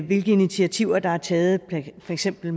hvilke initiativer der er taget med for eksempel